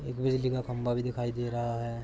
एक बिजली का खाम्भा भी दिखाई दे रहा है।